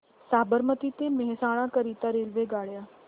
साबरमती ते मेहसाणा करीता रेल्वेगाड्या